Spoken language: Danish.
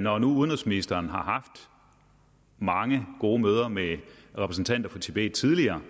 når nu udenrigsministeren har haft mange gode møder med repræsentanter for tibet tidligere